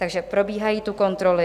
Takže probíhají tu kontroly.